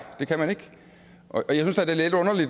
det kan man ikke